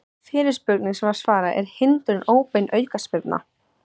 Fyrirspurnir sem var svarað: Er hindrun óbein aukaspyrna?